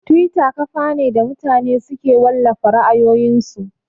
Tiwita kafa ne da mutane suke wallafa ra'ayoyin su